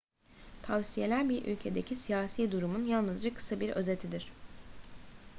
tavsiyeler bir ülkedeki siyasi durumun yalnızca kısa bir özetidir